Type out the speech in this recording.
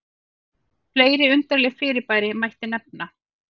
fleiri undarleg fyrirbæri mætti nefna